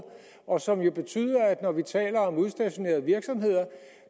og som jo betyder at når vi taler om udstationerede virksomheder